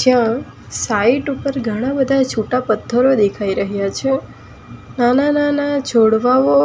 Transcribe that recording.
ત્યાં સાઈટ ઉપર ઘણા બધા છૂટા પથ્થરો દેખાઈ રહ્યા છે નાના-નાના છોડવાઓ